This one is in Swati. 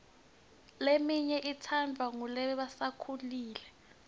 leminye itsandvwa ngulasebakhulile